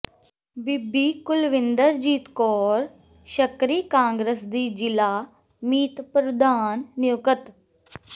ਬੀਬੀ Kulwinderjit Kaur Shakri Congress ਦੀ ਜ਼ਿਲ੍ਹਾ ਮੀਤ ਪ੍ਰਧਾਨ ਨਿਯੁਕਤ